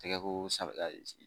Tɛgɛ ko safura